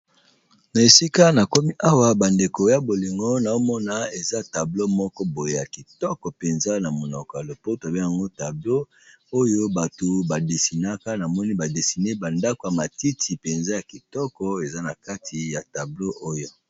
Na esika nakomi awa bandeko ya bolingo nazomona eza tableau moko boye yakitoko penza na monoko ya lopoto, oyo ba dessinée pe dessiner ba ndako ya matiti penza eza nakati ya tableau oyo.